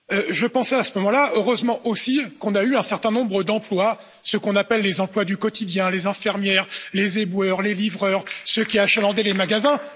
J'ai pensé, à ce moment là Heureusement aussi que nous avons eu un certain nombre d'emplois, ceux que l'on appelle les emplois du quotidien les infirmières, les éboueurs, les livreurs, ceux qui achalandaient les magasins.